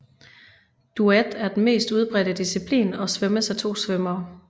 Duet er den mest udbredte disciplin og svømmes af 2 svømmere